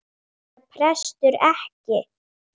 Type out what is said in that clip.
Prestur eða prestur ekki.